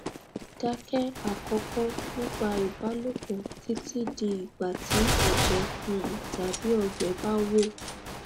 dákẹ àkọkọ nípa ìbálòpọ títí di igba tí ẹjẹ um tàbí ọgbẹ bá wò